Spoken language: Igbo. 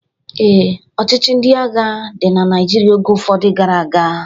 Ee, ọchịchị ndị agha dị na Naijiria oge ụfọdụ gara aga